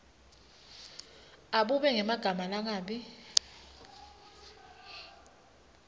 abube ngemagama langabi